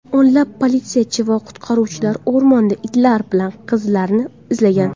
O‘nlab politsiyachi va qutqaruvchilar o‘rmonda itlar bilan qizlarni izlagan.